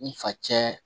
N fa cɛn